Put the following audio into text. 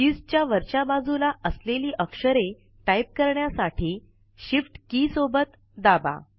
keys च्या वरच्या बाजूला असलेली अक्षरे टाईप करण्यासाठी shift के सोबत दाबा